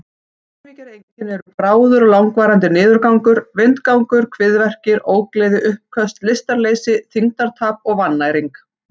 Dæmigerð einkenni eru bráður eða langvarandi niðurgangur, vindgangur, kviðverkir, ógleði, uppköst, lystarleysi, þyngdartap og vannæring.